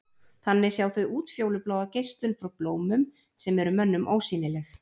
Þannig sjá þau útfjólubláa geislun frá blómum sem er mönnum ósýnileg.